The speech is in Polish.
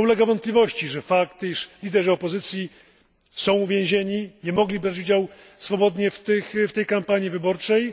To nie ulega wątpliwości, że fakt, iż liderzy opozycji są uwięzieni, nie mogli brać udziału swobodnie w tej kampanii wyborczej,